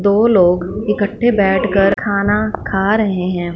दो लोग इकट्ठे बैठकर खाना खा रहे हैं।